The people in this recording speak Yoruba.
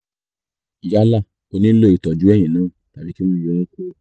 yálà ó nílò ìtọ́jú eyín náà tàbí kí wọ́n yọ ọ́ kúrò